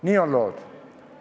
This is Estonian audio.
Nii on lood.